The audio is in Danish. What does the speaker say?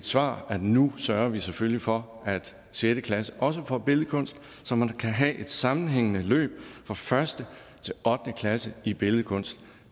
svar at nu sørger vi selvfølgelig for at sjette klasse også får billedkunst så man kan have et sammenhængende forløb fra første til ottende klasse i billedkunst